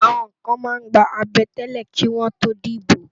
Àwòn kán má n gbá àbètélè kiwòn tó dibó